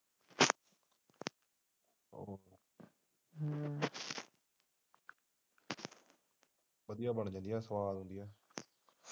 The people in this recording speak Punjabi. ਵਧੀਆ ਬਣ ਜਾਂਦੀ ਹੈ ਸਵਾਦ ਹੁੰਦੀ ਹੈ।